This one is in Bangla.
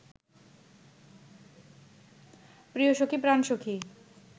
প্রিয়সখী প্রাণসখী